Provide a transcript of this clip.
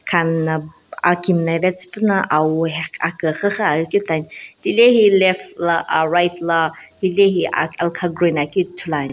khami na aki mllave tsupuna awo heqh akuxuxu aghi keu type tilehi left la uh right la hile alkha green aghikeu ithuluani.